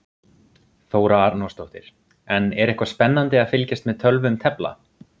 Þóra Arnórsdóttir: En er eitthvað spennandi að fylgjast með tölvum tefla?